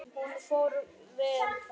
Hún fór vel fram.